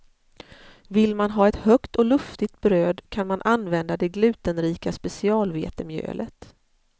Vill man ha ett högt och luftigt bröd kan man använda det glutenrika specialvetemjölet.